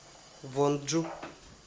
вонджу